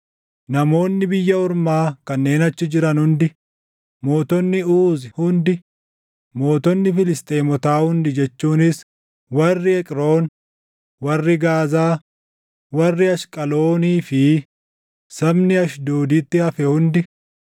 namoonni biyya ormaa kanneen achi jiran hundi, mootonni Uuzi hundi, mootonni Filisxeemotaa hundi jechuunis warri Eqroon, warri Gaazaa, warri Ashqaloonii fi sabni Ashdooditti hafee hundi,